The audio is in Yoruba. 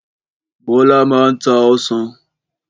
Bọ́lá máa n ta ọsàn.